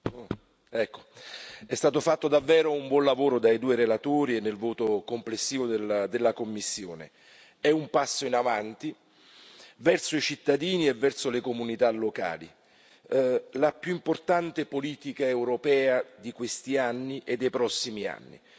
Signor Presidente, onorevoli colleghi, è stato fatto davvero un buon lavoro dai due relatori e nel voto complessivo della commissione. È un passo in avanti verso i cittadini e verso le comunità locali, la più importante politica europea di questi anni e dei prossimi anni.